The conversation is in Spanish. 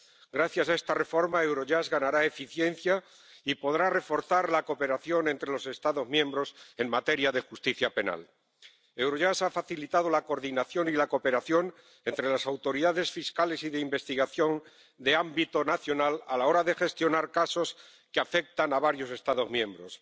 Gracias a esta reforma, Eurojust ganará eficiencia y podrá reforzar la cooperación entre los Estados miembros en materia de justicia penal. Eurojust ha facilitado la coordinación y la cooperación entre las autoridades fiscales y de investigación de ámbito nacional a la hora de gestionar casos que afectan a varios Estados miembros.